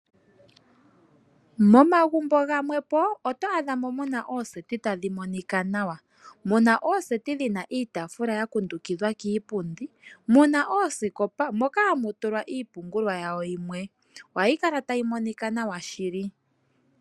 Momagumbo gamwepo oto adhamo muna ooseti tadhi monika nawa . Muna ooseti dhina iitaafula yakundukidhwa kiipundi. Muna oosikopa moka hamu tulwa iipumbiwa yawo yimwe . Ohayi kala tayi monika nawa shili.